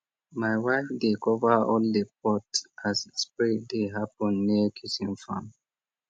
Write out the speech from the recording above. my wife dey cover all the pot as spray dey happen near kitchen farm